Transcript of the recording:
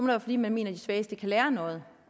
være fordi man mener at de svageste kan lære noget